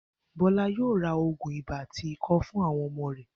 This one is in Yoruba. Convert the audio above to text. Bó̩lá yóò ra ògùn ibà àti ikó̩ fún àwo̩n o̩mo̩ rè̩